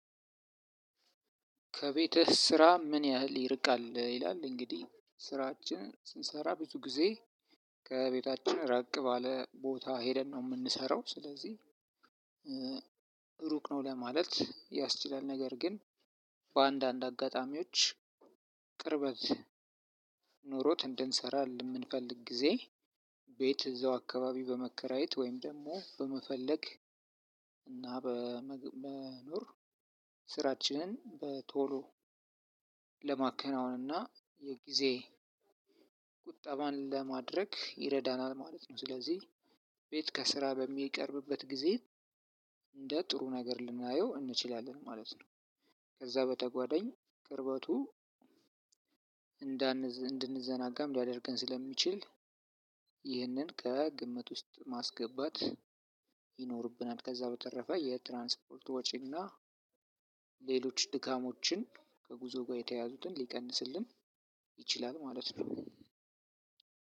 ከቤትህ ስራ ምን ያህል ይርቃል? ይላል እንግዲህ ስራችን ስንሰራ ብዙ ጊዜ ከቤታችን ራቅ ባለ ቦታ ሄደን ነው የምንሰራው ስለዚህ ሩቅ ነው ለማለት ያስችላል። ነገር ግን በአንዳንድ አጋጣሚዎች ቅርበት ኖሮት እንድንሰራ የምንፈልግ ጊዜ ቤት እዛው አካባቢ በመከራየት ወይም ደግሞ በመፈለግ እና በመኖር ስራችን በቶሎ ለማከናወን እና የጊዜ ቁጠባን ለማድረግ ይረዳናል። ማለት ነው ስለዚህ ቤት ከስራ በሚቀርብበት ጊዜ እንደ ጥሩ ነገር ልናየው እንችላለን ማለት ነው። ከዛ በተጓደኝ ቅርበቱ እንዳ እንድንዘናጋም ሊያደርገን ስለሚችል ይህንን ከግምት ውስጥ ማስገባት ይኖርብናል። ከዛ በተረፈ የትራንስፖርት ወጪና ሌሎች ድካሞችን ከጉዞ ጋር የተያዙትን ሊቀንስልን ይችላል ማለት ነው።